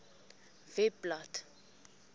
webblad